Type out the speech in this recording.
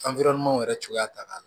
yɛrɛ cogoya ka di